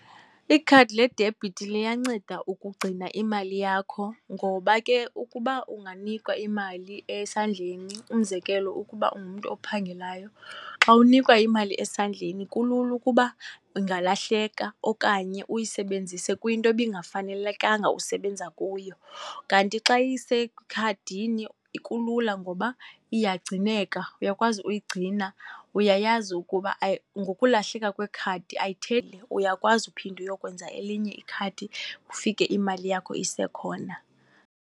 Ikhadi ledibhithi liyanceda ukugcina imali yakho ngoba ke ukuba unganikwa imali esandleni, umzekelo, ukuba ungumntu ophangelayo, xa unikwa imali esandleni, kulula ukuba ingalahleka okanye uyisebenzise kwinto ebingafanelekanga usebenza kuyo. Kanti xa isekhadini kulula ngoba iyagcineka, uyakwazi uyigcina, uyayazi ukuba ngokulahleka kwekhadi uyakwazi uyokwenza elinye ikhadi, ufike imali yakho isekhona.